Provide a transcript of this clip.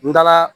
N taara